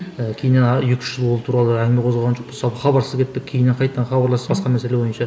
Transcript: ыыы кейіннен екі үш жыл ол туралы әңгіме қозғаған жоқпыз жалпы хабарсыз кеттік кейіннен қайтадан хабарластық басқа мәселе бойынша